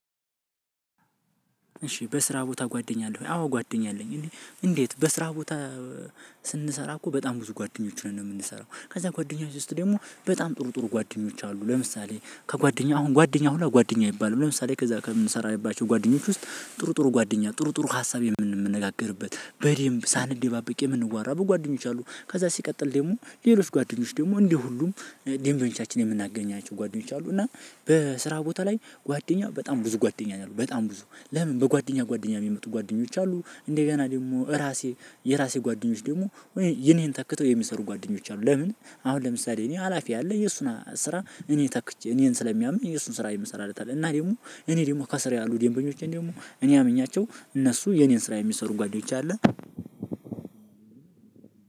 እሺ በስራ ቦታ ጓደኛ አለህ ወይ? አዎ ጓደኛ አለኝ እኔ እንዴት በስራ ቦታ ስንሰራ እኮ በጣም ብዙ ጓደኞች ነን ነው የምንሰራው ከዛ ጓደኞች ውስጥ ደግሞ በጣም ጥሩ ጥሩ ጓደኞች አሉ። ለምሳሌ ከጓደኛ አሁን ጓደኛ ሁላ ጓደኛ ይባላል ለምሳሌ ከዛ ከምንሰራበት ጓደኞች ውስጥ ጥሩ ጥሩ ጓደኛ ጥሩ ጥሩ ሀሳብ የምንነጋገርበት በደንብ ሳንደባበቅ የምንዋራ በጓደኞች አሉ። ከዛ ሲቀጥል ደግሞ ሌሎች ጓደኞች ደግሞ እንዲህ ሁሉም ደንበኞቻችን የምናገኛቸው ጓደኞች አሉ። እና በስራ ቦታ ላይ ጓደኛ በጣም ብዙ ጓደኛ ነው። በጣም ብዙ ለምን በጓደኛ ጓደኛ የሚመጡ ጓደኞች አሉ። እንደገና ደግሞ እራሴ የራሴ ጓደኞች ደግሞ ይሄን ይሄን ተክተው የሚሰሩ ጓደኞች አሉ። ለምን አሁን ለምሳሌ እኔ ሀላፊ አለ የእሱን ስራ እኔ ተክቼ እኔን ስለሚያምን እሱን ስራ የምሰራለት አለ። እና ደግሞ እኔ ደግሞ ከስር ያሉ ደንበኞቼን ደግሞ እኔ አምኛቸው እነሱ የኔን ስራ የሚሰሩ ጓደኞቼ አለ።